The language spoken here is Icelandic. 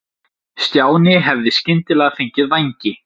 Stjáni hefði skyndilega fengið vængi.